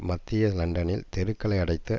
மத்திய லண்டனில் தெருக்களை அடைத்து